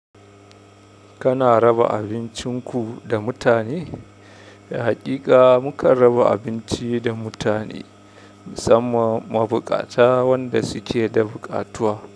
Kana raba abincinku da mutane? Haƙiƙa mukan raba abinci da mutane, musamman mabuƙata wanda suke da buƙatuwa.